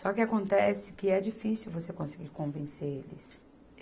Só que acontece que é difícil você conseguir convencer eles